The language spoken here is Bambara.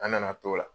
An nana t'o la